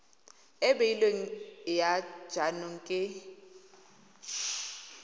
e beilweng ya jaanong ke